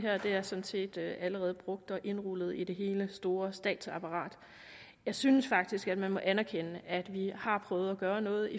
er sådan set allerede brugt og indrulleret i det store statsapparat jeg synes faktisk at man må anerkende at vi har prøvet at gøre noget